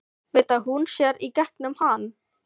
Veit að hún sér í gegnum hann.